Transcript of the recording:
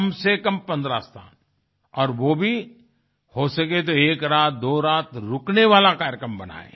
कम से कम 15 स्थान और वो भी हो सके तो एक रात दो रात रुकने वाला कार्यक्रम बनाये